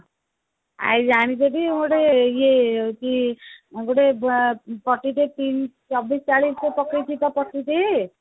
ଆଉ ଜାଣିଛ କି ଗୋଟେ ଇଏ ତୁ